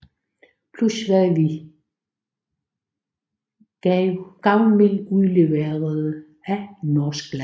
Plus hvad vi gavmildt udleverede af norsk land